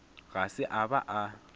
ga se a ba a